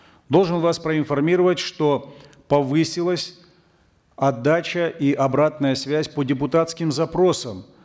должен вас проинформировать что повысилась отдача и обратная связь по депутатским запросам